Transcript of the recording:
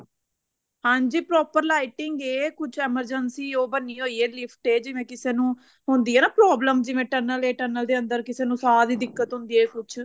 ਹਾਂਜੀ proper lighting ਏ ਕੁੱਝ ਉਹ emergency ਉਹ ਬਣੀ ਹੋਈ ਏ lift ਤੇ ਜਿਵੇਂ ਕਿਸੇ ਨੂੰ ਹੁੰਦੀ ਆ ਨਾ problem tunnel ਜਾਂ tunnel ਦੇ ਅੰਦਰ ਕਿਸੇ ਨੂੰ ਸਾਂਹ ਦੀ ਦਿੱਕਤ ਹੁੰਦੀ ਏ ਕੁੱਝ